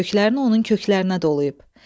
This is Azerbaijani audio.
Köklərini onun köklərinə dolayıb.